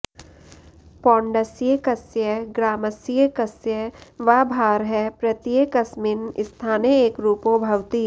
पौण्डस्यैकस्य ग्रामस्यैकस्य वा भारः प्रत्येकस्मिन् स्थाने एकरूपो भवति